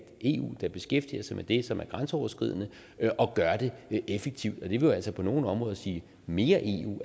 eu der beskæftiger sig med det som er grænseoverskridende og gør det effektivt det vil jo altså på nogle områder sige mere eu